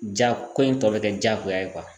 Ja ko in tɔ be kɛ jagoya ye kuwa